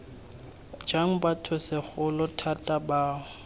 jang batho segolo thata bao